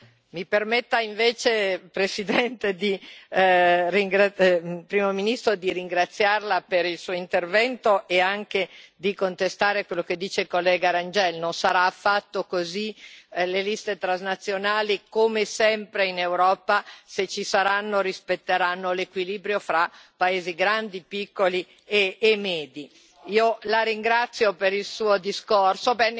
Signor Presidente, onorevoli colleghi, mi permetta, Primo ministro, di ringraziarLa per il Suo intervento e anche di contestare quello che dice il collega Rengel non sarà affatto così, le liste transnazionali, come sempre in Europa, se ci saranno, rispetteranno l'equilibrio fra paesi grandi, piccoli e medi. Io La ringrazio per il Suo discorso.